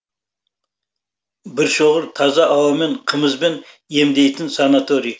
біршоғыр таза ауамен қымызбен емдейтін санаторий